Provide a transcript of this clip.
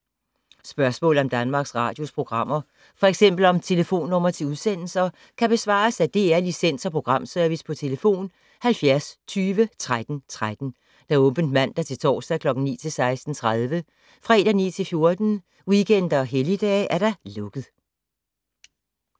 Spørgsmål om Danmarks Radios programmer, f.eks. om telefonnumre til udsendelser, kan besvares af DR Licens- og Programservice: tlf. 70 20 13 13, åbent mandag-torsdag 9.00-16.30, fredag 9.00-14.00, weekender og helligdage: lukket.